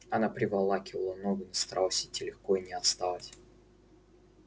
она приволакивала ногу но старалась идти легко и не отставать